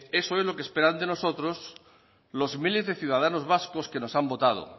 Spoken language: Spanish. eso es lo que esperan de nosotros los miles de ciudadanos vascos que nos han votado